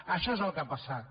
això és el que ha passat